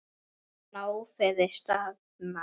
Hafa nóg fyrir stafni.